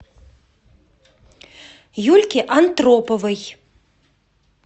юльке антроповой